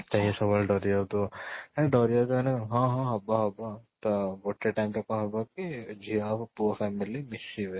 ଇଏ ସବୁ ବେଳେ ଡରି ଯାଉଥିବଅଂ ଡରି ଯାଉଥିବ ମାନେ କ'ଣ ହଁ ହବ ହବ ଆଉ ତ ଗୋଟେ time ରେ କ'ଣ ହବ କି ଝିଅ ଆଉ ପୁଅ family ମିଶିବେ